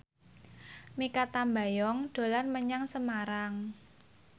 Mikha Tambayong dolan menyang Semarang